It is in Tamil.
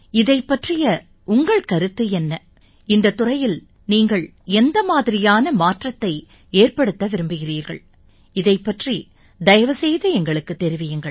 இதைப் பற்றிய உங்கள் கருத்து என்ன இந்தத் துறையில் நீங்கள் எந்த மாதிரியான மாற்றத்தை ஏற்படுத்த விரும்புகிறீர்கள் இதைப் பற்றி தயவு செய்து எங்களுக்குத் தெரிவியுங்கள்